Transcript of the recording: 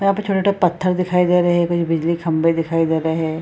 यहाँ पर छोटे-छोटे पत्थर दिखाई दे रहे हैं कुछ बिजली के खम्बे दिखाई दे रहे हैं ।